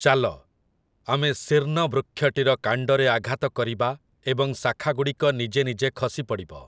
ଚାଲ, ଆମେ ଶୀର୍ଣ୍ଣ ବୃକ୍ଷଟିର କାଣ୍ଡରେ ଆଘାତ କରିବା ଏବଂ ଶାଖାଗୁଡ଼ିକ ନିଜେ ନିଜେ ଖସି ପଡ଼ିବ ।